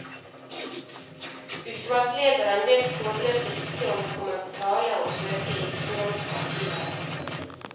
Utvalgslederen vet foreløpig ikke om det kommer på tale å søke i utenlandske arkiver.